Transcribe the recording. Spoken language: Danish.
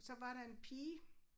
Så var der en pige